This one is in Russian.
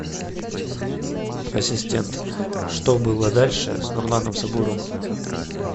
ассистент что было дальше с нурланом сабуровым